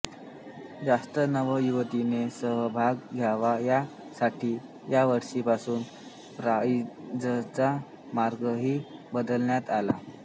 जास्त नव युवतींनी सहभाग घ्यावा या साठी या वर्षीपासून प्राईडचा मार्गही बदलण्यात आला